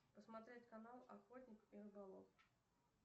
посмотреть канал охотник и рыболов